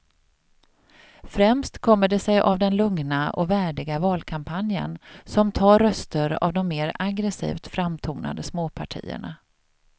Främst kommer det sig av den lugna och värdiga valkampanjen som tar röster av de mer aggresivt framtonade småpartierna.